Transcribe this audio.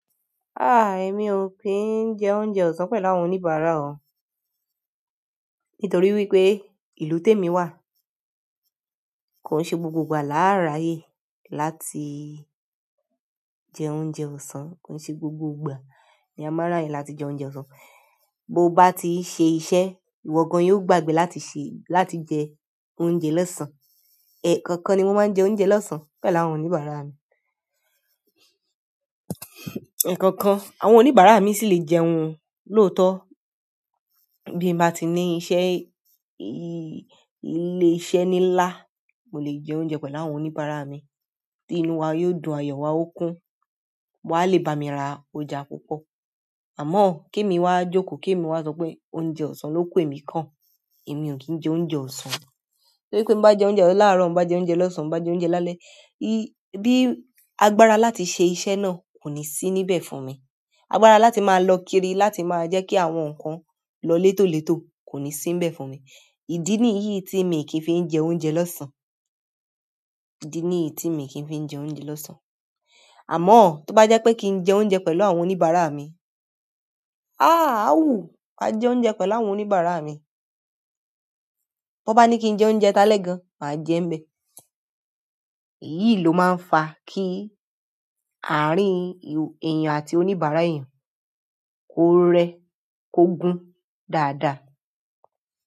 Ah! Èmi ò kí ń jẹ oúnjẹ ọ̀sán pẹ̀lú àwọn oníbàárà o, nítorí wípé ìlú tèmi wà. Kò ṣe gbogbo ìgbà làáràyè láti jẹ oúnjẹ ọ̀sán, kò ṣe gbogbo ìgbà ni a máa ráyè láti jẹ oúnjẹ ọ̀sán. Bo ba ti n se iṣẹ́, iwo gan yio gbagbe láti je oúnjẹ losan ẹ̀kọ̀okan ni mo máa ń jẹ oúnjẹ lọ́sàn-án pẹ̀lú àwọn oníbàárà mi. Ẹ̀koọ̀kan, àwọn oníbàárà mi sì lè jẹun lóòótọ́. Bí mo bá ti ní iṣẹ́, ilé-iṣẹ́ nílá, mo lè jẹ oúnjẹ pẹ̀lú àwọn oníbàárà mi. Ti inú wa yóò dùn, ayọ̀ wa ó kún, wọ́n a lè bá mi ra ọjà púpọ̀. Àmọ́ kí èmi wa jókòó, kí èmi wa sọ pé oúnjẹ ọ̀sán ló kú èmi kan. Emi o kin je oúnjẹ osan, torí ti mo ba je oúnjẹ ohun laaro, ti mo ba je oúnjẹ losan, ti mo ba je oúnjẹ lálẹ́, agbára láti se iṣẹ́ náà ko ni si níbẹ̀ fún mi agbára láti máa lọ kiri, láti máa jẹ́ kí àwọn nǹkan lọ létólètó kò ní sí níbẹ̀ fún mi. Ìdí nìyí tí èmi kì í fi ń jẹ oúnjẹ lọ́sán, ìdí nìyí tí èmi kì í fi ń jẹ oúnjẹ lọ́sán. Àmọ́ tó bá jẹ́ pé kí ń jẹ oúnjẹ pẹ̀lú àwọn oníbàárà mi, ah! A wu, máa jẹ oúnjẹ pẹ̀lú àwọn oníbàárà mi. Bo bá ní kí n jẹ oúnjẹ talẹ́ gan, màá jẹ ń bẹ. Èyí ló máa ń fa kí àárín èèyàn àti oníbàárà èèyàn kó rẹ, kó gún dáadáa.